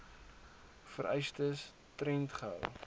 vereistes tred gehou